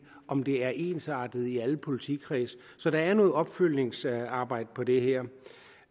om det er ensartet i alle politikredse så der er noget opfølgningsarbejde på det her